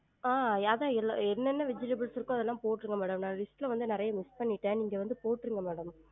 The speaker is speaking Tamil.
ஆஹ் எனென்ன vegetables இருக்கோ அதெல்லாம் போற்றுங்க madam நா list ல வந்து நெறைய miss பன்னிட்டன் நீங்க வந்து போற்றுங்க madam